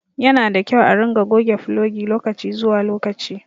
Yanada kyau a ringa goge fulogi lokaci zuwa lokaci